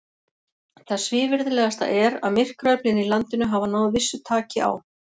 Það svívirðilegasta er, að myrkraöflin í landinu hafa náð vissu taki á.